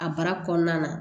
A baara kɔnɔna na